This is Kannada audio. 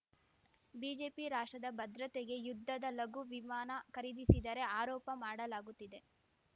ಬಿಜೆಪಿ ರಾಷ್ಟ್ರದ ಭದ್ರತೆಗೆ ಯುದ್ಧದ ಲಘು ವಿಮಾನ ಖರೀದಿಸಿದರೆ ಆರೋಪ ಮಾಡಲಾಗುತ್ತಿದೆ